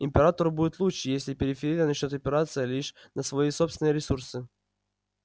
императору будет лучше если периферия начнёт опираться лишь на свои собственные ресурсы